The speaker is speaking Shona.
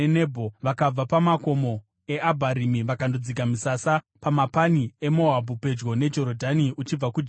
Vakabva pamakomo eAbharimi vakandodzika misasa pamapani eMoabhu pedyo neJorodhani uchibva kuJeriko.